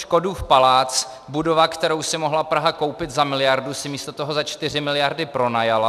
Škodův palác, budovu, kterou si mohla Praha koupit za miliardu, si místo toho za čtyři miliardy pronajala.